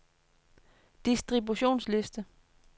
distributionsliste